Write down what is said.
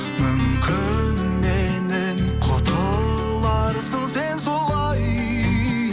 мүмкін меннен құтыларсың сен солай